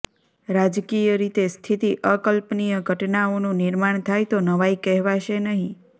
રાજકીય રીતે સ્થિતિ અકલ્પનીય ઘટનાઓનું નિર્માણ થાય તો નવાઇ કહેવાશે નહીં